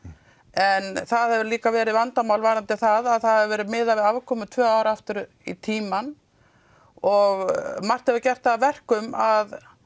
en það hefur líka verið vandamál með það að það hefur verið miðað við afkomu tvö ár aftur í tímann og margt hefur gert það að verkum að